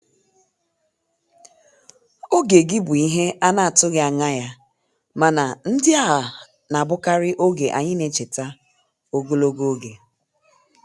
Oge gị bụ ihe a na-atụghị anya ya, mana ndị a na-abụkarị oge anyị na-echeta ogologo oge.